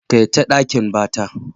Kaita ɗakin bata.